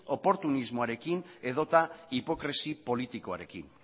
oportunismoarekin edota hipokresia politikoarekin